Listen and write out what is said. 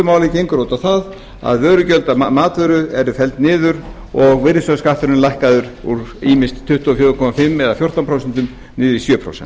máli gengur það út á það að að vörugjöld af matvöru eru felld niður og virðisaukaskatturinn lækkaður úr ýmist tuttugu og fjögur og hálft eða fjórtán prósent niður í sjö prósent